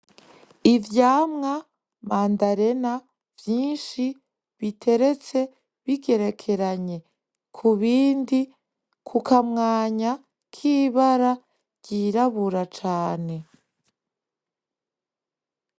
Ivyamwa mandarena nyinshi biteretse bigerekeranye kubindi, kukamwanya kibara ryirabura cane.